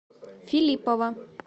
филиппова